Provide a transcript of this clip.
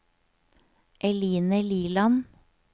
Eline Liland